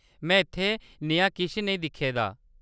में इत्थै नेहा किश नेईं दिक्खे दा ।